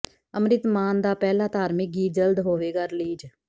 ਅੰਮ੍ਰਿਤ ਮਾਨ ਦਾ ਪਹਿਲਾ ਧਾਰਮਿਕ ਗੀਤ ਜਲਦ ਹੋਵੇਗਾ ਰਿਲੀਜ਼